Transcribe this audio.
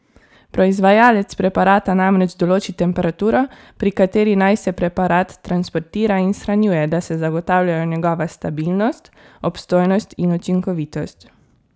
Proizvajalec preparata namreč določi temperaturo, pri kateri naj se preparat transportira in shranjuje, da se zagotavljajo njegova stabilnost, obstojnost in učinkovitost.